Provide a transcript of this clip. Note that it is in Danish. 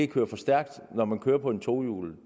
køre for stærkt når man kører på et tohjulet